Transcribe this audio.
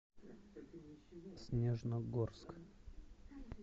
снежногорск